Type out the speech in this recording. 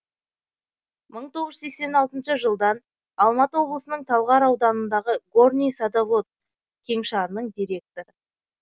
мың тоғыз жүз сексен алтыншы жылдан алматы облысының талғар ауданындағы горный садовод кеңшарының директоры